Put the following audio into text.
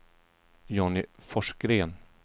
Johnny Forsgren